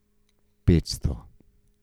Petsto?